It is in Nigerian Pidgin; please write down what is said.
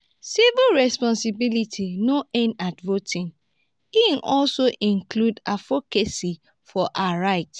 civic responsibility no end at voting; e also involve advocacy for our rights.